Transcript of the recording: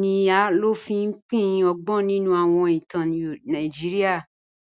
ni a ló fi pín ọ̀gbọn nínu awọn ìtàn Nàìjíríà